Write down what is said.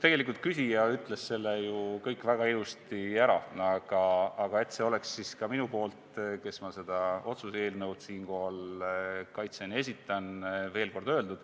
Tegelikult küsija ütles ju kõik väga ilusasti ära, aga et see oleks siis ka minu poolt, kes ma seda otsuse eelnõu siinkohal kaitsen ja esitan, veel kord öeldud,